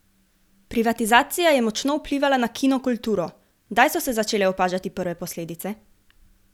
Privatizacija je močno vplivala na kino kulturo, kdaj so se začele opažati prve posledice?